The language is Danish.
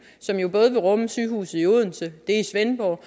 som jo vil rumme sygehusene i odense svendborg